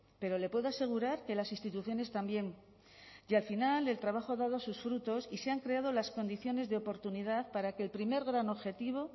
pero le puedo asegurar que las instituciones también y al final el trabajo ha dado sus frutos y se han creado las condiciones de oportunidad para que el primer gran objetivo